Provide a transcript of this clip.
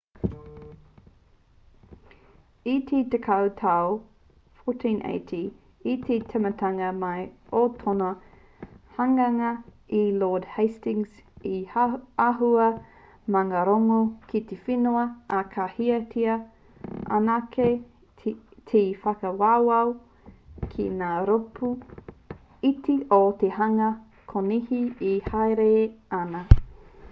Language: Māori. i te tekau tau 1480 i te tīmatanga mai o tōna hanganga e lord hastings he āhua maungārongo ki te whenua ā ka hiahiatia anake te whakawawao ki ngā rōpū iti o te hunga konihi e hāereere ana